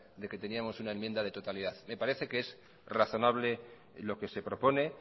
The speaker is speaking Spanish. de que teníamos una enmienda de totalidad me parece que es razonable lo que se propone